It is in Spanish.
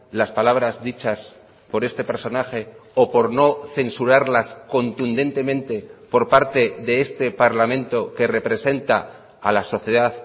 las palabras dichas por este personaje o por no censurarlas contundentemente por parte de este parlamento que representa a la sociedad